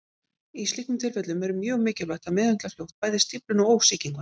Í slíkum tilfellum er mjög mikilvægt að meðhöndla fljótt bæði stífluna og sýkinguna.